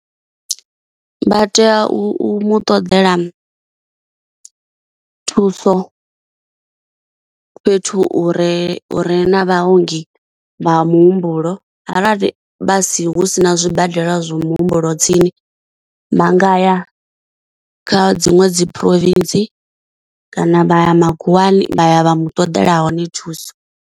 Vha tea u mu ṱoḓela thuso fhethu hu re hu re na vhaongi vha muhumbulo, arali vha si hu sina zwibadela zwa muhumbulo tsini vha nga ya kha dziṅwe dzi province kana vha ya makhuwani vha ya vha mu ṱoḓela hone thuso.